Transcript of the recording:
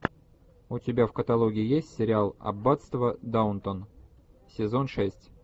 у тебя в каталоге есть сериал аббатство даунтон сезон шесть